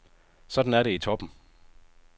Sådan er det i toppen.